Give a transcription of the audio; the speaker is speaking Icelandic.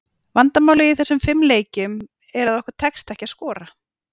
Vandamálið í þessum fimm leikjum, er að okkur tekst ekki að skora.